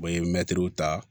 U bɛ mɛtiriw ta